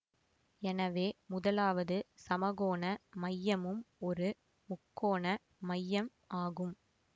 எனவே முதலாவது சமகோண மையமும் ஒரு முக்கோண மையம் ஆகும்